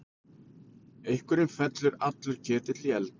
Einhverjum fellur allur ketill í eld